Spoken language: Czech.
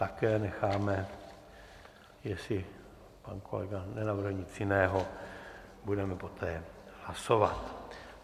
Také necháme, jestli pan kolega nenavrhl nic jiného, budeme poté hlasovat.